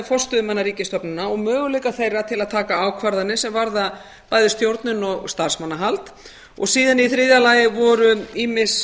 forstöðumanna ríkisstofnana og möguleika þeirra til að taka ákvarðanir sem varða bæði stjórnun og starfsmannahald síðan voru í þriðja lagi ýmis